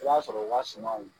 I b'a sɔrɔ u ka sumanwas.